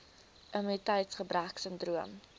immuniteits gebrek sindroom